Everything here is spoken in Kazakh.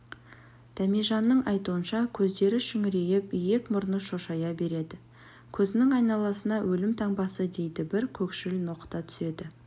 дәмежанның айтуынша көздері шүңірейіп иек-мұрны шошая береді көзінің айналасына өлім таңбасы дейді бір көкшіл ноқта түседі